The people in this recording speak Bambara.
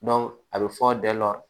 a bɛ fɔ dɛ